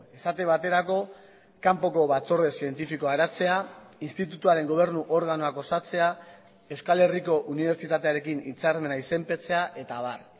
esate baterako kanpoko batzorde zientifikoa eratzea institutuaren gobernu organoak osatzea euskal herriko unibertsitatearekin hitzarmena izenpetzea eta abar